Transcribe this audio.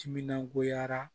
Timinan goyara